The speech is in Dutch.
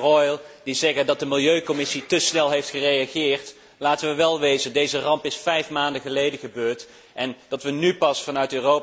Reul, die zeggen dat de Milieucommissie te snel heeft gereageerd. Laten we wel wezen, deze ramp is vijf maanden geleden gebeurd en dat we nu pas vanuit Europa gaan komen met een resolutie, is helemaal niet te snel.